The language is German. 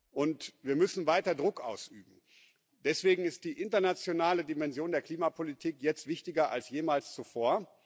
Und wir müssen weiter Druck ausüben. Deswegen ist die internationale Dimension der Klimapolitik jetzt wichtiger als jemals zuvor.